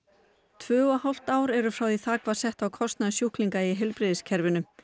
tvö og hálft ár er frá því þak var sett á kostnað sjúklinga í heilbrigðiskerfinu